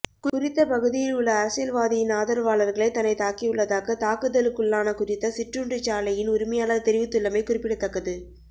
குறித்த பகுதியில் உள்ள அரசியல்வாதியின் ஆதரவாளர்களே தன்னைத் தாக்கியுள்ளதாக தாக்குதலுக்குள்ளான குறித்த சிற்றுண்டிச்சாலையின் உரிமையாளர் தெரிவித்துள்ளமை குறிப்படத்தக்கது